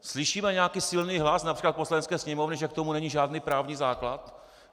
Slyšíme nějaký silný hlas například v Poslanecké sněmovně, že k tomu není žádný právní základ?